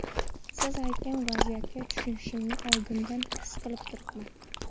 Siz aytgan vaziyatga tushishimni oldindan his qilib turibman.